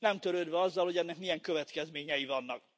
Nem törődve azzal, hogy ennek milyen következményei vannak.